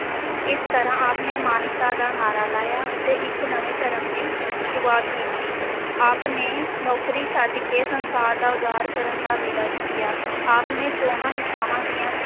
ਇਸ ਤਰਾਂ ਆਪ ਨੇ ਮਾਨਵਤਾ ਦਾ ਨਾਅਰਾ ਲਾਇਆ ਅਤੇ ਇਕ ਨਵੇਂ ਧਰਮ ਦੀ ਸ਼ੁਰੂਆਤ ਕੀਤੀ ਆਪ ਨੇ ਨੌਕਰੀ ਛੱਡ ਕੇ ਸੰਸਾਰ ਦਾ ਉਦਾਰ ਕਰਨ ਦਾ ਬੀੜਾ ਚੁੱਕਿਆ, ਆਪ ਨੇ ਚੌਹਾਂ ਦਿਸ਼ਾਵਾਂ ਦੀਆਂ